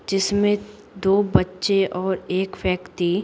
जिसमें दो बच्चे और एक व्यक्ति--